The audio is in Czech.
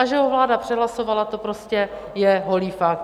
A že ho vláda přehlasovala, to prostě je holý fakt.